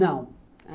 Não.